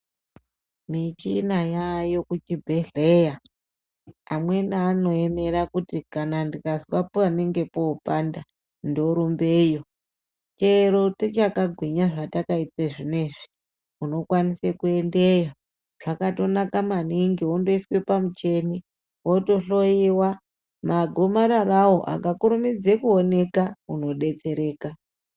Michina yaayo kuchibhedhleya amweni anoemera kuti kana ndikazwa panenge popanda ndorumbeyo, chero tichakagwinya zvatakaita zvinezvi unokwanise kuendeyo zvakatonaka maningi wondoiswe pamuchini wotohloyewa magomararawo akakurumidza kuoneka unodetsereka.